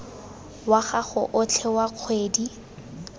wa gago otlhe wa kgwedi